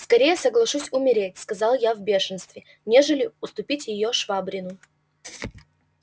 скорее соглашусь умереть сказал я в бешенстве нежели уступить её швабрину